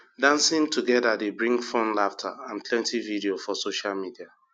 dancing together dey bring fun laughter and plenty video for social media